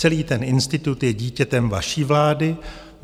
Celý ten institut je dítětem vaší vlády.